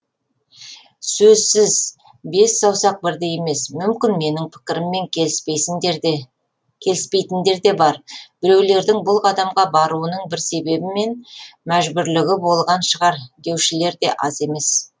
сөзсіз бес саусақ бірдей емес мүмкін менің пікіріммен келіспейдіндер де бар біреулердің бұл қадамға баруының бір себебі мен мәжбүрлігі болған шығар деушілер де аз емес